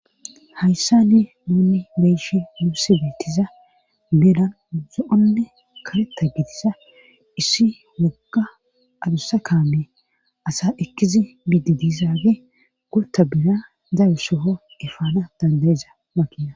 hayssani nuunni beyishi muussi betiza benan zo7onne karetta bitiza issi wogga adussa kaame asa ekkizi bididizaage gurta bina zayo soho efaana dandayiza makina